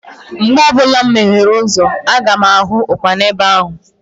Mgbe ọbụla mụ meghee ụzọ, aga m ahụ Ụkpana ebe ahụ